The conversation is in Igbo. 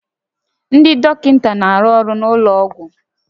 Ndị dọkịta na-arụ ọrụ n'ụlọ ọgwụ